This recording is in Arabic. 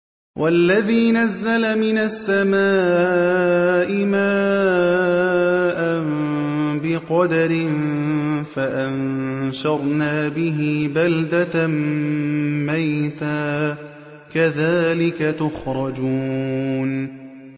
وَالَّذِي نَزَّلَ مِنَ السَّمَاءِ مَاءً بِقَدَرٍ فَأَنشَرْنَا بِهِ بَلْدَةً مَّيْتًا ۚ كَذَٰلِكَ تُخْرَجُونَ